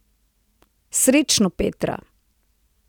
Srečno, Petra!